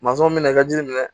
min bɛna i ka jiri minɛ